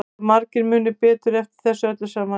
Heldurðu að margir muni betur eftir þessu öllu saman en þú?